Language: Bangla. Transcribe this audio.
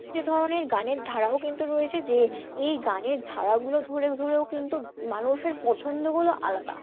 যে ধরনের গানের ধারাও কিন্তু রয়েছে, যে এই গানের ধারাগুলো ধরে ধরেও কিন্তু মানুষের পছন্দগুলো আলাদা